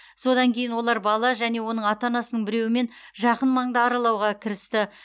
содан кейін олар бала және оның ата анасының біреуімен жақын маңды аралауға кірісті